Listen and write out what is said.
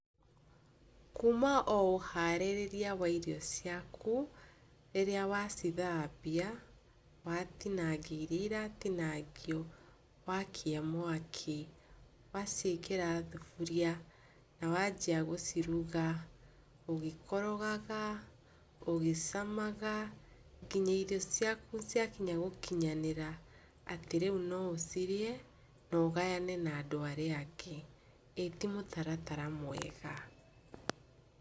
Kuma o ũharĩrĩria wa iria ciaku rĩrĩa wa cithambia watinangia iria iratinangio, wakia mwaki, waciĩkĩra thaburia na wanjia gũciruga ũgĩkorogaga, ũgĩcamaga nginya irio ciaku ciakinya gũkinyanĩra atĩ rĩu no ũcirĩe na ũgayane na andũ arĩa angĩ, ĩtimũtaratara mwega.